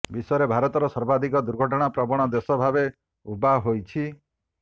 ବିଶ୍ୱରେ ଭାରତର ସର୍ବାଧିକ ଦୁର୍ଘଟଣା ପ୍ରବଣ ଦେଶ ଭାବେ ଉଭା ହୋଇଛି